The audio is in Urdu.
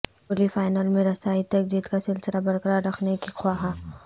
کوہلی فائنل میں رسائی تک جیت کا سلسلہ برقرار رکھنے کے خواہاں